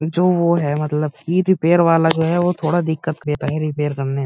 जो वो है मतलब ई- रिपेयर वाला जो है वो थोड़ा दिक्कत देता है रिपेयर करने में।